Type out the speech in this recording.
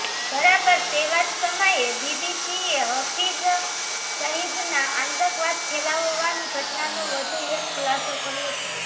બરાબર તેવા જ સમયે બીબીસીએ હફીઝ સઈદના આતંકવાદ ફેલાવવાની ઘટનાનો વધુ એક ખુલાસો કર્યો છે